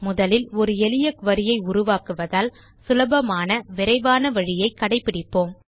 முதலில் ஒரு எளிய குரி ஐ உருவாக்குவதால் சுலபமான விரைவான வழியை கடைபிடிப்போம்